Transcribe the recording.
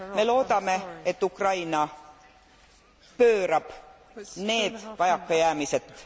Me loodame, et Ukraina pöörab need vajakajäämised...